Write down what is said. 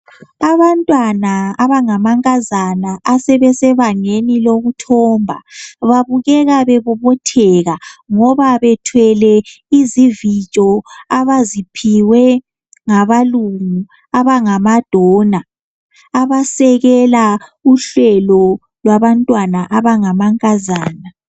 Abantwana abangamankazana abasebangeni loluthomba babukeka bebobotheka ngoba bethwele izivijo abaziphiwe ngabalungu abangama dona abasekela uhlelo kwabantwana abangamankazana